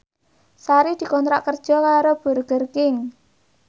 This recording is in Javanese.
Sari dikontrak kerja karo Burger King